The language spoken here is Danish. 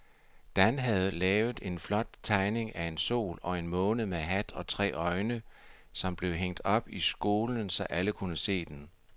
Dan havde lavet en flot tegning af en sol og en måne med hat og tre øjne, som blev hængt op i skolen, så alle kunne se den.